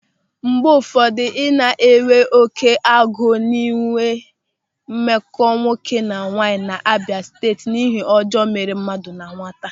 Mgbe ụfọdụ, ị na-enwe oké agụ ịnwe mmekọ nwoke na nwaanyị na-abịa site n'ịhe ọjọọ mere mmadụ na nwata.